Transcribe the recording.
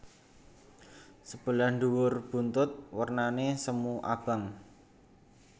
Sebelah dhuwur buntut wernane semu abang